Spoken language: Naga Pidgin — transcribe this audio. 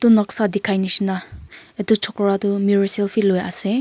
etu noksa dikhai nishina etu chokra toh mirror selfie lui ase.